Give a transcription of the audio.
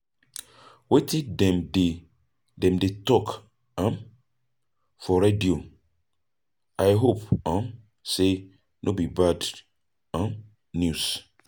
Wetin dem dey dem dey talk um for radio? I hope um sey no be bad um news.